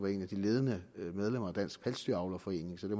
de ledende medlemmer af dansk pelsdyravlerforening så det